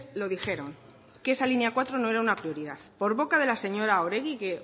lo dijeron que esa línea cuatro no era una prioridad por boca de la señora oregi que